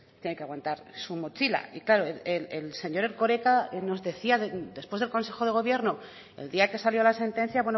que hay que aguantar su mochila y claro el señor erkoreka nos decía después del consejo de gobierno el día que salió la sentencia